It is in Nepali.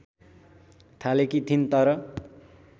थालेकी थिइन् तर